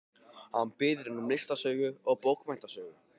Hún biður um listasögu og bókmenntasögu.